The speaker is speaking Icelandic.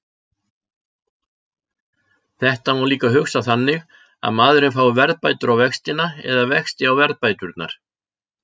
Þetta má líka hugsa þannig að maðurinn fái verðbætur á vextina eða vexti á verðbæturnar.